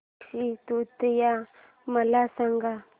अक्षय तृतीया मला सांगा